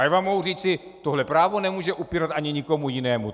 A já vám mohu říci - tohle právo nemůžeme upírat ani nikomu jinému.